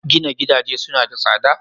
Gina gidaje suna da tsada?